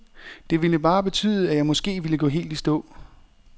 Det ville bare betyde, at jeg måske ville gå helt i stå.